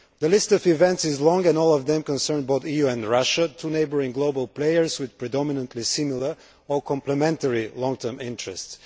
The list of events is long and all of them concern both the EU and Russia, two neighbouring global players with predominantly similar or complementary long term interests.